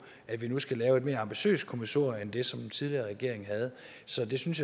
at vi nu skal lave et mere ambitiøst kommissorium end det som den tidligere regering lavede så det synes